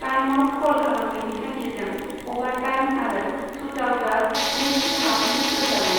Timeout कल खालामनायनि थांखिजों, अभारटाइम आरो सुटआउटआ नैथि हाफनि गोसारनाय।